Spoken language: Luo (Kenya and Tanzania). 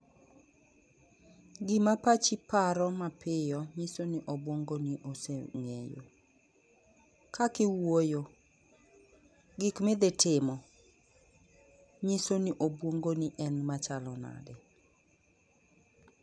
Gi ma pachi paro ma piyo ngiso ni obwongo ni osengeye kaka iwuoyo gik ma idhitimo ngiso ni obwongo ni en ma chalo nade